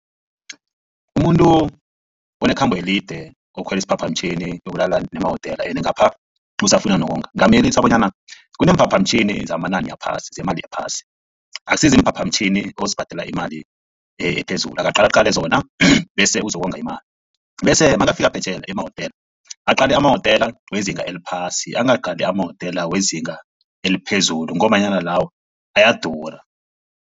Umuntu onekhambo elide okhwela isiphaphamtjhini oyokulala nemawotela ende ngapha usafuna nokonga ngingamyelelisa bonyana kuneemphaphamtjhini zamanani aphasi zemali ephasi akusi ziimphaphamtjhini ozibhadela ngemali ephezulu akaqala qale zona bese uzokonga imali. Bese nakafika phetjheya emawotela aqale amawotela wezinga eliphasi angaqali amawotela wezinga eliphezulu ngombanyana lawo ayadura.